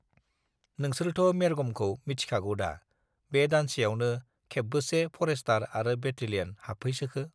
नोंसोरथ मेरगमखौ मिथिखागौदा बे दानसेआवनो खेबबोसे फरेस्तार आरो बेटेलियन हाबफैसोखो